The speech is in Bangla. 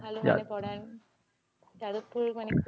খুব ভালোভাবে পড়ায়, যাদবপুরে মানে